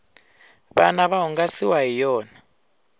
vana va hungasiwa hi yona